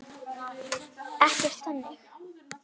Ekkert þannig.